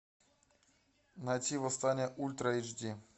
найти восстание ультра эйч ди